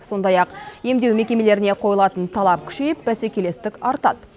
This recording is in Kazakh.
сондай ақ емдеу мекемелеріне қойылатын талап күшейіп бәсекелестік артады